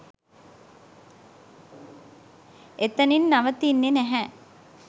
එතනින් නවතින්නෙ නැහැ.